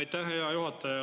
Aitäh, hea juhataja!